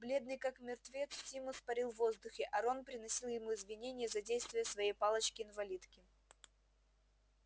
бледный как мертвец симус парил в воздухе а рон приносил ему извинения за действия своей палочки-инвалидки